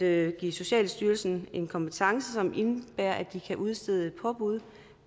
at give socialstyrelsen en kompetence som indebærer at de kan udstede påbud